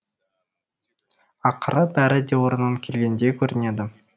ақыры бәрі де орнына келгендей көрінеді